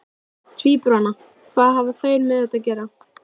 Tvíburana, hvað hafa þeir með þetta að gera?